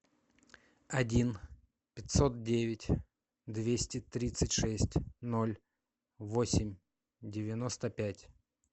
один пятьсот девять двести тридцать шесть ноль восемь девяносто пять